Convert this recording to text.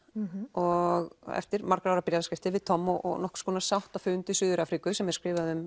og eftir margra ára bréfaskriftir við Tom og nokkurs konar sáttafund í Suður Afríku sem er skrifað um